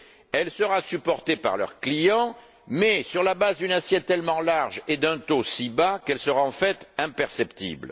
Elle sera supportée par leurs clients, mais sur la base d'une assiette tellement large et d'un taux si bas qu'elle sera, en fait, imperceptible.